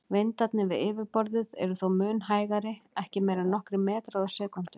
Vindarnir við yfirborðið eru þó mun hægari, ekki meira en nokkrir metrar á sekúndu.